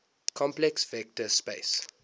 complex vector space